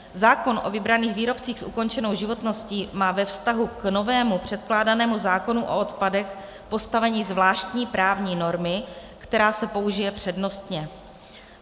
Zákon o vybraných výrobcích s ukončenou životností má ve vztahu k novému předkládanému zákonu o odpadech postavení zvláštní právní normy, která se použije přednostně.